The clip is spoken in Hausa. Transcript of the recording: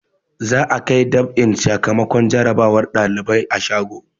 Za'a kai dab'in sakamakon jarabawar ɗalibai shago.